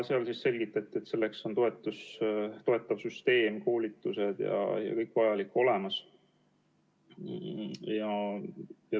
Selgitati, et selleks on toetav süsteem, koolitused ja kõik vajalik olemas.